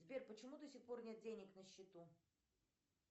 сбер почему до сих пор нет денег на счету